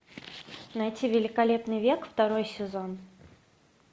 найти великолепный век второй сезон